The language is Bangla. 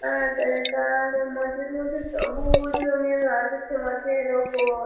আ তে তার মাঠের মধ্যে সবু-উ-জ রঙের ঘাস আছে মাঠের উপর।